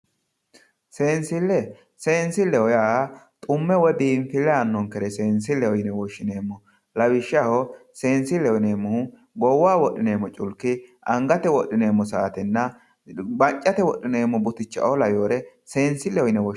Seensille seensilleho yaa xumme woyi biinfille aannonkere seensilleho yine wishshineemmo lawishshaho seensilleho yineemmohu goowaho wodhineemmo cluki, angate wodhineemmo saatenna maccate wodhineemmo buticha"o laweyoore seensilleho yine